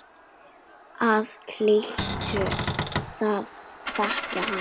Þú hlýtur að þekkja hann.